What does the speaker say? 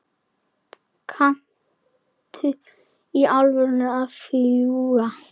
Kanntu í alvöru að fljúga?